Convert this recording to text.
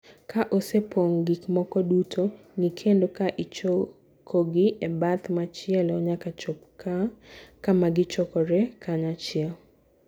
Ka osepong' gik moko duto, ng'i kendo ka ichokogi e bath machielo nyaka chop kama gichokore kanyachiel.